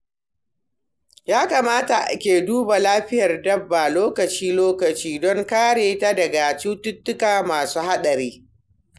Ya kamata ake duba lafiyar dabba lokaci-lokaci don kare ta daga cututtuka masu haɗari.